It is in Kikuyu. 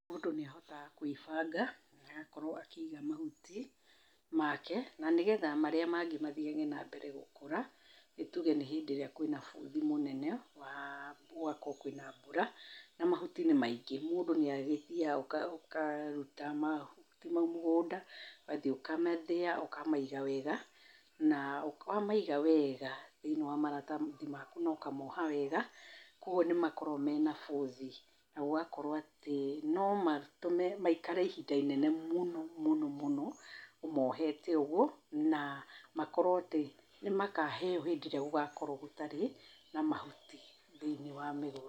Mũndũ nĩ ahotaga kwĩbanga, agakorwo akĩiga mahuti make na nĩgetha marĩa mangĩ mathiage na mbere gũkũra. Nĩ tuge nĩ hĩndĩ ĩrĩa kwĩna bũthi mũnene, wa gũgakorwo kwĩna mbura na mahuti nĩ maingĩ, mũndũ nĩ agĩthiaga ũka ũkaruta mahuti mau mũgũnda, ũgathiĩ ũkamathĩa, ũkamaiga wega, na wa maiga wega thĩiniĩ wa maratathi maku na ũkamoha wega, kwogwo nĩ makoragwo mena bũthi, na gũgakorwo atĩ no matũme maikare ihinda inene mũno mũno mũno ũmohete ũgwo na makorwo atĩ nĩ makaheo hĩndĩ ĩrĩa gũgakorwo gũtarĩ na mahuti thĩiniĩ wa mĩgũnda.